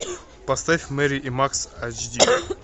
поставь мэри и макс ач ди